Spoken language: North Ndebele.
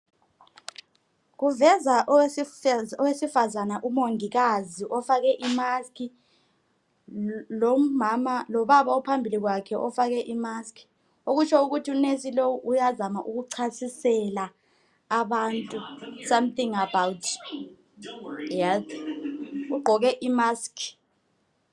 Kuveza owesifazane umongikazi ofake imask lobaba ophambili kwakhe ofake imask okutsho ukuthi unesi lo uyazama ukuchasisela abantu something about health ugqoke imask.